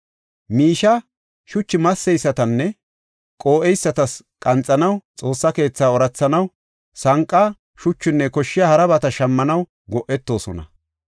Miishiya shuchu masseysatasinne qoo7eysatas qanxanaw, Xoossa keetha oorathanaw, sanqa, shuchunne koshshiya harabata shammanaw go7etoosona.